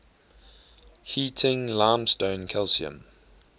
heating limestone calcium